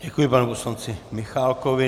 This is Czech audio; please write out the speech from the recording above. Děkuji panu poslanci Michálkovi.